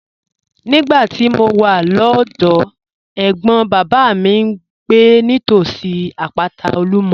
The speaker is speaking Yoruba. Nígbà tí mo wà lọ́dọ̀ọ́, ẹ̀gbọ́n bàbá mi ń gbé nítòsí àpáta Olumo.